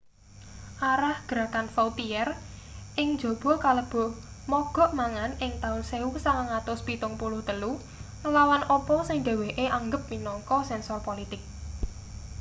arah gerakan vautier ing njaba kalebu mogok mangan ing taun 1973 nglawan apa sing dheweke anggep minangka sensor politik